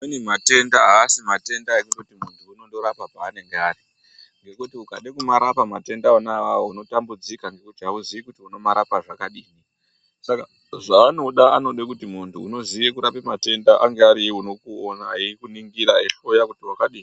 Amweni matenda asi kuti muntu unondorapa panenge ari ngekuti ukade kumarapa matenda ona awawo unotambudzika ngekuti auzi kuti unomarapa zvakadini saka zvanoda anode kuti muntu unoziye kurape matenda anga ariye unokuona eikuningira eikuhloya kuti wakadini.